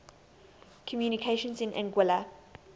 communications in anguilla